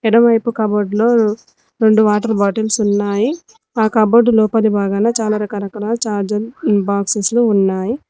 ఎడమ వైపు కాబోర్డ్లో రొండు వాటర్ బాటిల్స్ ఉన్నాయి ఆ కబోర్డ్ లోపలి బాగానే చాలా రకరకాల చార్జర్ ఇన్ బాక్సస్ లు ఉన్నాయి.